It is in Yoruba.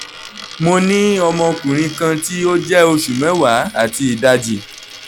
mo ni ọmọkunrin kan ti o jẹ oṣu mẹwa ati idaji